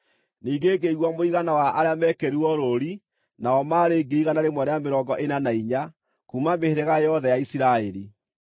Ningĩ ngĩigua mũigana wa arĩa meekĩrirwo rũũri, nao maarĩ: 144,000 kuuma mĩhĩrĩga yothe ya Isiraeli.